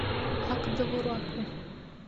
ак довураку